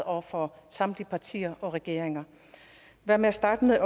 over for samtlige partier og regeringer hvad med at starte med